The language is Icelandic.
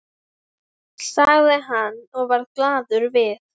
sagði hann og varð glaður við.